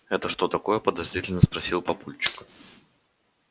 это что такое подозрительно спросил папульчик